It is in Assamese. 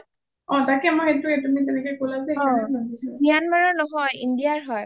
অ তাকে মই সেইটোয়ে তুমি তেনেকে কলা যে সেই কাৰণে ভাবিছোঁ